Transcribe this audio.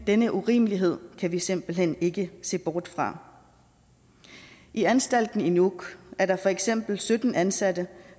denne urimelighed kan vi simpelt hen ikke se bort fra i anstalten i nuuk er der for eksempel sytten ansatte